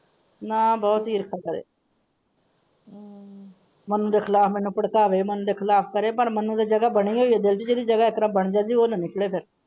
ਨਾਂ ਬਹੁਤ ਈਰਖਾ ਕਰੇ ਬੰਦੇ ਖ਼ਿਲਾਫ਼ ਮੈਨੂੰ ਭੜਕਾਵੇ ਬੰਦੇ ਖ਼ਿਲਾਫ਼ ਕਰੇ ਪਰ ਮੈਨੂੰ ਉਹਦੀ ਜਾਗ੍ਹ ਬਣੀ ਹੋਇ ਹੈ ਜਿਹਦੀ ਜਗ੍ਹਾ ਇਸ ਤਰਾਂ ਬਣ ਜਾਂਦੀ ਉਹ ਨਾ ਨਿੱਕਲੇ ਫ਼ੇਰ।